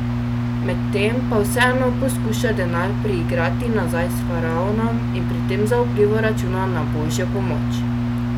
Medtem pa vseeno poskuša denar priigrati nazaj s faraonom in pri tem zaupljivo računa na Božjo pomoč.